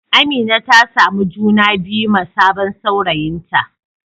Amina ta samu juna biyu ma sabon saurayinta.